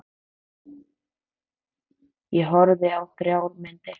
Ég horfði á þrjár myndir.